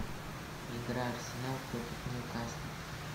игра арсенал против ньюкасла